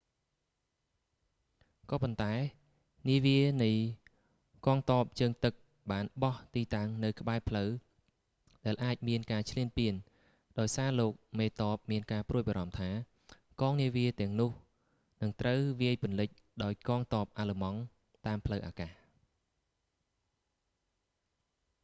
ក៏ប៉ុន្តែ នាវានៃកង់ទ័ពជើងទឹកបានបោះទីតាំងនៅក្បែរផ្លូវដែលអាចមានការឈ្លានពាន ដោយសារលោកមេទ័ពមានការព្រួយបារម្ភថា កងនាវាទាំងនោះនឹងត្រូវវាយពន្លិចដោយកងទ័ពអាល្លឺម៉ង់តាមផ្លូវអាកាស